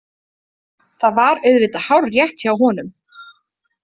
Það var auðvitað hárrétt hjá honum.